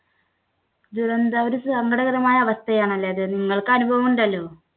ദുരന്ത ഒരു സങ്കടകരമായ അവസ്ഥയാണല്ലേ അത്. നിങ്ങൾക്ക് അനുഭവം ഉണ്ടല്ലോ